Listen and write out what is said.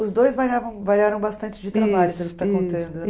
Os dois variavam variaram bastante de trabalho você está contando